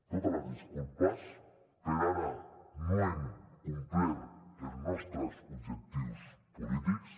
totes les disculpes per ara no hem complert els nostres objectius polítics